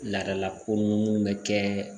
Laadalako mun bɛ kɛ